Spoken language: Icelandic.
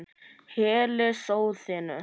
Hellið soðinu.